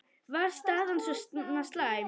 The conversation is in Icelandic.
Var staðan svona slæm?